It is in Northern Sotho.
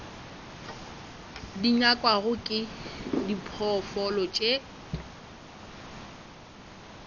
di nyakwago ke diphoofolo tše